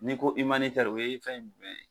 N'i ko o ye fɛn jumɛn ye ?